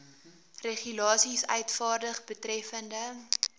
regulasies uitvaardig betreffende